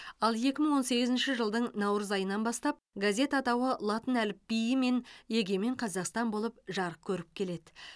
ал екі мың он сегізінші жылдың наурыз айынан бастап газет атауы латын әліпбиімен егемен қазақстан болып жарық көріп келеді